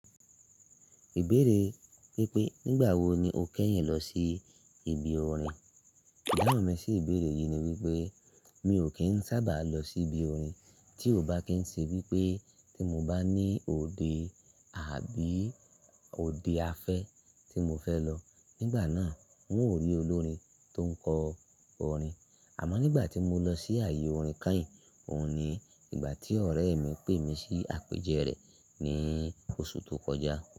Ìbéèrè wípé, "Nígbà wo ni o kẹ́yìn lọ sí ibi orin?" Ďáwón mi sí ìbéèrè yìí ni wípé, "Mi ò kín sábà lọ sí ibi orin tí ò bá kín ṣe wípé tí mo bá ní òde àbí òde afẹ́ tí mo fẹ́ lọ. Nígbà náà, mo rí olórin tó ń kọ orin. Àmó nígbà tí mo lọ sí àyè orin kányìn, òun ni ìgbà tí ọ̀rẹ́ mi pè mí sí àpèjẹ rẹ̀ ní oṣù tó kọjá."